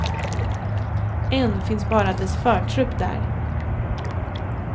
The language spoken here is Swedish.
Än finns bara dess förtrupp där.